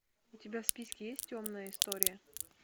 у тебя в списке есть темная история